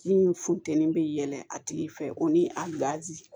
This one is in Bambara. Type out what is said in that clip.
Min funteni bɛ yɛlɛn a tigi fɛ o ni a